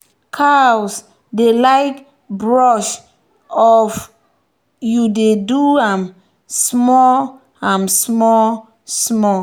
cows dey like brush oif you dey do am small am small small.